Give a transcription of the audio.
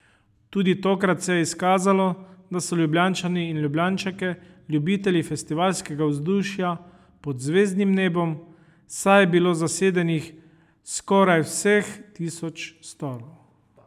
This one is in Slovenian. Tudi tokrat se je izkazalo, da so Ljubljančani in Ljubljančanke ljubitelji festivalskega vzdušja pod zvezdnim nebom, saj je bilo zasedenih skoraj vseh tisoč stolov.